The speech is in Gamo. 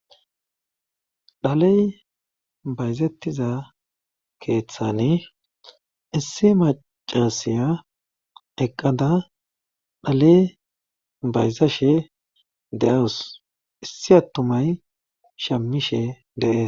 Dhaley bayzettiza keeththani issi macasiya eqqada dhale bayzashe de7awus issi attumay shamishe de'e